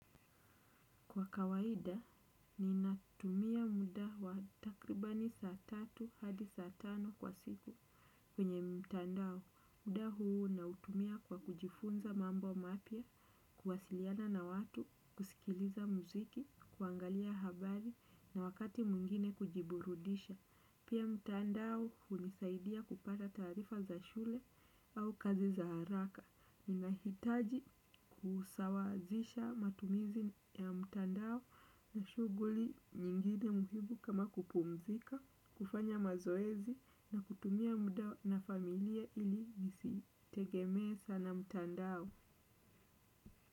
Kwa kawaida, ninatumia muda wa takribani saa tatu hadi saa tano kwa siku. Kwenye mtandao, muda huu nautumia kwa kujifunza mambo mapya, kuwasiliana na watu, kusikiliza muziki, kuangalia habari na wakati mwingine kujiburudisha. Pia mtandao hunisaidia kupata taarifa za shule au kazi za haraka. Ninahitaji kusawazisha matumizi ya mtandao na shughuli nyingine muhimu kama kupumzika, kufanya mazoezi na kutumia muda na familia ili nisitegemee sana mtandao.